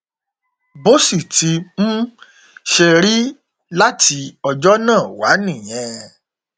bó sì ti um ṣe rí láti ọjọ náà wá nìyẹn